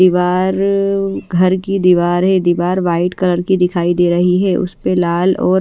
दीवार घर की दीवार है दीवार व्हाइट कलर की दिखाई दे रही है उस पे लाल और--